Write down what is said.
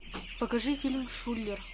покажи фильм шулер